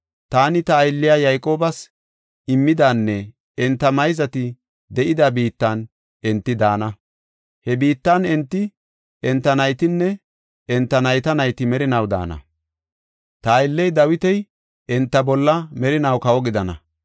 Taani ta aylliya Yayqoobas immidanne enta mayzati de7ida biittan enti daana. He biittan enti, enta naytinne enta nayta nayti merinaw daana; ta aylley Dawiti enta bolla merinaw kawo gidana.